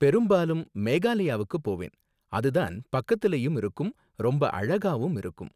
பெரும்பாலும் மேகலாயாவுக்கு போவேன், அது தான் பக்கத்துலயும் இருக்கும் ரொம்ப அழகாவும் இருக்கும்.